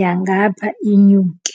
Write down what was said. yangapha inyuke.